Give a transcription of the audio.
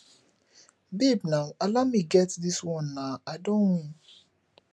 babe naa allow me get dis wan naa i don win